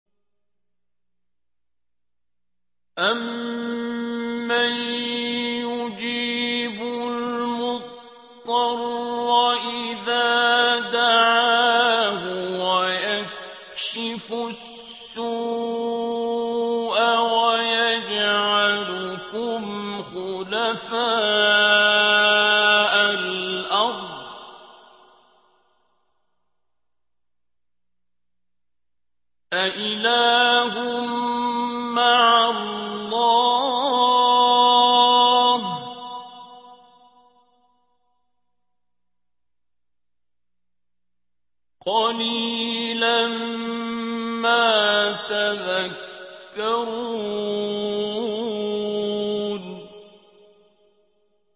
أَمَّن يُجِيبُ الْمُضْطَرَّ إِذَا دَعَاهُ وَيَكْشِفُ السُّوءَ وَيَجْعَلُكُمْ خُلَفَاءَ الْأَرْضِ ۗ أَإِلَٰهٌ مَّعَ اللَّهِ ۚ قَلِيلًا مَّا تَذَكَّرُونَ